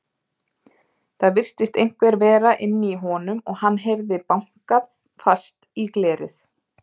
Það virtist einhver vera inni í honum og hann heyrði bankað fast í glerið.